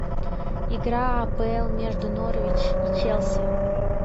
игра апл между норвич и челси